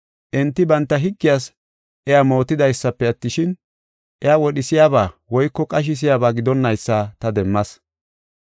Enti banta higgiyas iya mootidaysafe attishin, iya wodhisiyaba woyko qashisiyaba gidonnaysa ta demmas.